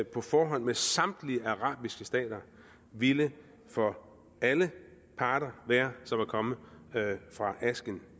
på forhånd med samtlige arabiske stater ville for alle parter være som at komme fra asken